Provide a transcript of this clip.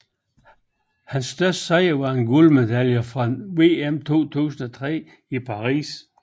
Hans største sejr er en guldmedalje fra VM 2003 i Paris